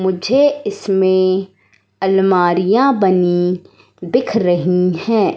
मुझे इसमें अलमारियां बनी दिख रही है।